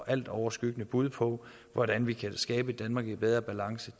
altoverskyggende bud på hvordan vi kan skabe et danmark i bedre balance